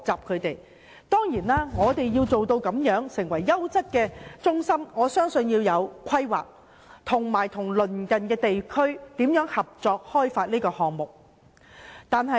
香港要提供優質養老中心，我相信必須有規劃和與鄰近地區合作和進行開發工作。